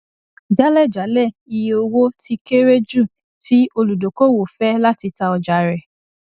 jálẹjálẹ iye owó tí kéré jù tí olùdókòwò fẹ láti ta ọjà rẹ